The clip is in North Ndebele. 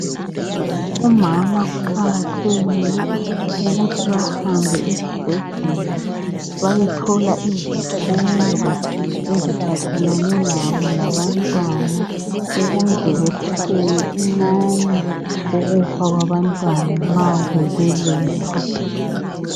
Omama kuqakathekile ukuthi bahambe esibhedlela bayethola izifundo eziphathelane labo labantwana ukuze kwehliseke inani lokufa kwabantwana nxa bebelethwa.